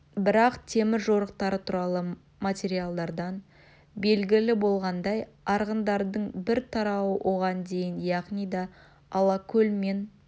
бірақ темір жорықтары туралы материалдардан белгілі болғандай арғындардың бір тарауы оған дейін яғни да алакөл мен